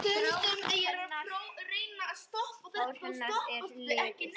Grátt hár hennar er liðað.